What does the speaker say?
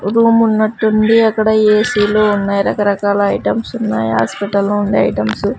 Room ఉన్నట్టుండి అక్కడ ఏ_సీలు ఉన్నాయి రకరకాల ఐటమ్స్ ఉన్నాయ్ హాస్పిటల్లో ఉండే ఐటమ్స్ .